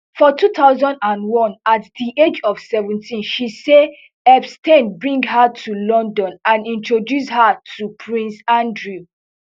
for two thousand and one at di age of seventeen she say epstein bring her to london and introduce her to prince andrew